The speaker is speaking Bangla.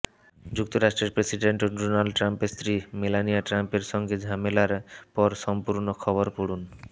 যুক্তরাষ্ট্রের প্রেসিডেন্ট ডোনাল্ড ট্রাম্পের স্ত্রী মেলানিয়া ট্রাম্পের সঙ্গে ঝামেলার পরসম্পূর্ণ খবর পড়ুন